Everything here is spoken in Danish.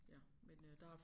Ja men øh der har